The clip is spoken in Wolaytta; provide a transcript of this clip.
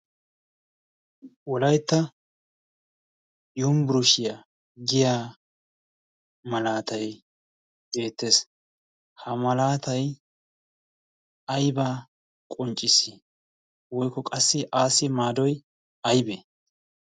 wolaytta yunbburushiyaa giya malaatay deettees ha malaatay aybaa qonccis woykko qassi aasi maadoy aybee